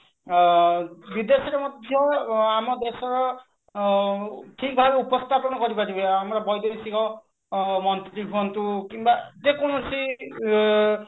ଆଁ ବିଦେଶରେ ମଧ୍ୟ ଆମ ଦେଶର ଆଁ ଠିକ ଭାବେ ଉପସ୍ଥାପନ କରି ପାରିବେ ଆମର ବୈଦେଶିକ ଆଁ ମନ୍ତ୍ରୀ ହୁଅନ୍ତୁ କିମ୍ବା ଯେ କୌଣସି ଆଁ